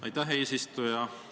Aitäh, eesistuja!